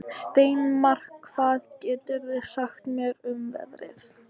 Steinmar, hvað geturðu sagt mér um veðrið?